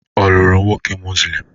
Ọ lụrụ nwoke Muslim?